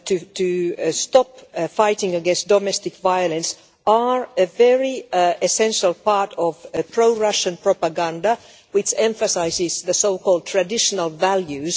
to stop the fight against domestic violence is a very essential part of pro Russian propaganda, which emphasises the so called traditional values.